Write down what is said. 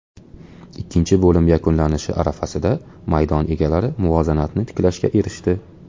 Ikkinchi bo‘lim yakunlanishi arafasida maydon egalari muvozanatni tiklashga erishdi.